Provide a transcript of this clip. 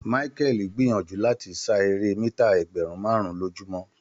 Michael gbìyànjú láti sá eré mítà ẹgbẹ̀rún márùn-ún lójúmọ́.